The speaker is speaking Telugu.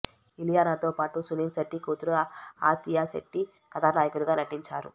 ఇలియానాతో పాటు సునీల్ శెట్టి కూతురు ఆతియా శెట్టి కథానాయకలుగా నటించారు